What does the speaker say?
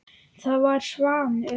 Það var Svanur.